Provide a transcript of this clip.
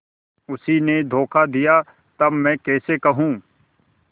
उसी ने धोखा दिया तब मैं कैसे कहूँ